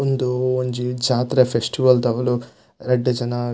ಉಂದು ಒಂಜಿ ಜಾತ್ರೆ ಫೆಸ್ಟಿವಲ್ ದೌಲು ರಡ್ಡ್ ಜನ--